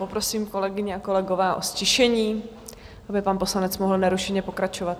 Poprosím, kolegyně a kolegové, o ztišení, aby pan poslanec mohl nerušeně pokračovat.